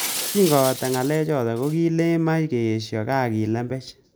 Kingobata ngalechoto kokikilen mach keesho kaa kilembech